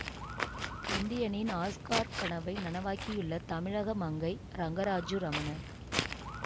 இந்தியனின் Oscar கனவை நனவாக்கியுள்ள தமிழக மங்கை ரங்கராஜு ரமணன்